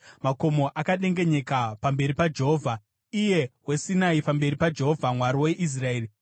Makomo akadengenyeka pamberi paJehovha, Iye weSinai, pamberi paJehovha, Mwari weIsraeri.